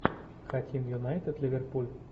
хотим юнайтед ливерпуль